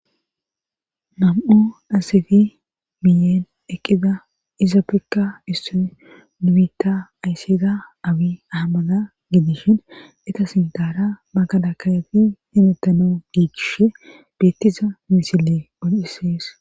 nam7u dhasefi miyeen eqqida isa pekka isso nimitta ayssida awi ahammada gidishin eta sintaara makala kayafi himettano giikishe beettiza misile ol7isees